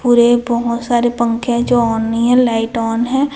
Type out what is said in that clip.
पूरे बहोत सारे पंखे हैं जो ऑन नई है लाइट ऑन है।